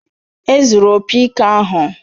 Ezuuru opi ike ahụ